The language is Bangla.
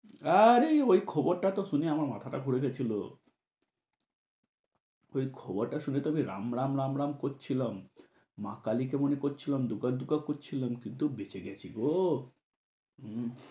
আরে ওই খবরটা তো শুনে আমার মাথা ঘুরে গেছিল। ওই খবরটা তো শুনে আমি রাম রাম রাম রাম করছিলাম, মা কালীকে মনে করছিলাম, দুগ্গা দুগ্গা করছিলাম কিন্তু বেঁচে গেছি গো, হম ।